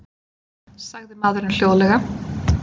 sagði maðurinn hljóðlega.